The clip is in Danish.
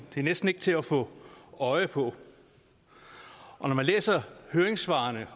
det er næsten ikke til at få øje på når man læser høringssvarene